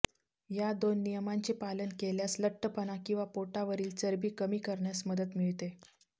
या दोन नियमांचे पालन केल्यास लठ्ठपणा किंवा पोटावरील चरबी कमी करण्यास मदत मिळते